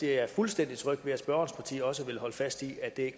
jeg er fuldstændig tryg ved at spørgerens parti også vil holde fast i at det